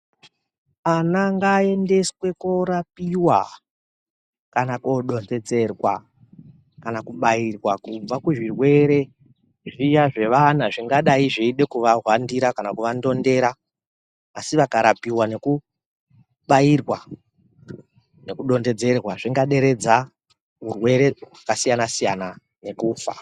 Ana ngaaendeswe korapiwa, kana kodonhedzerwa ,kana kubairwa, kubva kuzvirwere zviya zvevana zvindadayi zveide kuvahwandira kana kuvandondera, asi vakarapiwa nekubairwa, nekudontedzerwa, zvingaderedza urwere hwakasiyana-siyana nekufa.